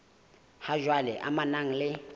ha jwale e amanang le